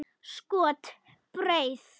Skot: Breið.